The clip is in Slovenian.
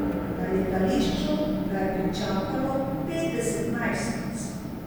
Na letališču ga je pričakalo petdeset najstnic.